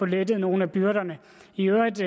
lette nogle af byrderne i øvrigt